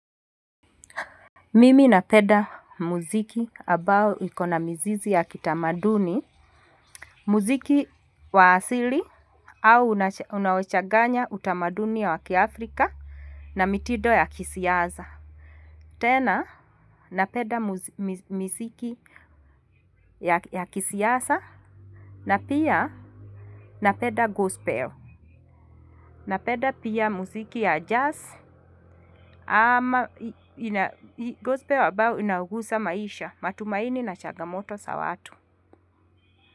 Mimi napenda muziki ambao ikona mzizi ya kitamaduni, muziki wa asili au unaochanganya utamaduni ya wa kiafrika na mitindo ya kisiasa. Tena napenda miziki ya kisiasa na pia napenda gospel. Napenda pia muziki ya jazz ama gospel ambao inagusa maisha matumaini na chagamoto za watu.